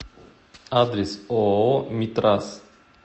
адрес ооо митрас